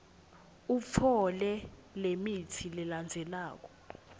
utfole lemitsi lelandzelako